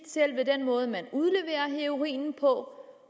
selve den måde man udleverer heroinen på